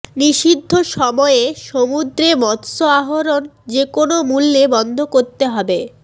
নিষিদ্ধ সময়ে সমুদ্রে মৎস্য আহরণ যেকোনো মূল্যে বন্ধ করতে হবে